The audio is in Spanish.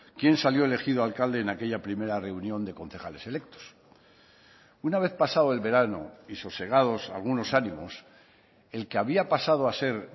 quién salió elegido alcalde en aquella primera reunión de concejales electos una vez pasado el verano y sosegados algunos ánimos el que había pasado a ser